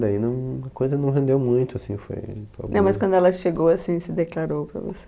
Daí não a coisa não rendeu muito, assim, foi... Não, mas quando ela chegou, assim, se declarou para você?